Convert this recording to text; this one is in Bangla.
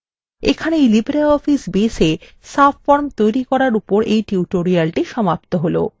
এই libreoffice baseএ subforms তৈরী করার উপর এই tutorial সমাপ্ত হল